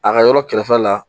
A ka yɔrɔ kɛrɛfɛla la